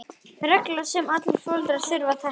Regla sem allir foreldrar þurfa að þekkja.